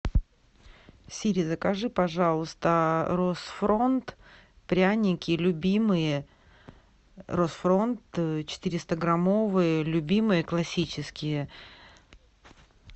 сири закажи пожалуйста рот фронт пряники любимые рот фронт четыреста граммовые любимые классические